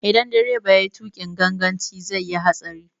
Idan direba yayi tuƙin ganganci zai yi hatsari.